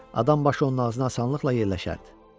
Adam başı onun ağzına asanlıqla yerləşərdi.